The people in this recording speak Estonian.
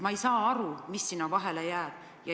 Ma ei saa aru, mis sinna vahele veel jääb.